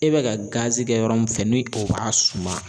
E bɛ ka gazi kɛ yɔrɔ min fɛ ni o b'a suma